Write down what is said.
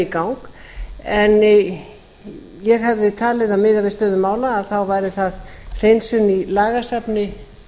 gang en ég hefði talið að eða við stöðu mála væri það hreinsun í lagasafni